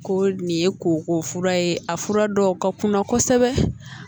Ko nin ye koko fura ye a fura dɔw ka kunna kosɛbɛ